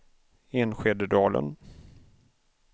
Enskededalen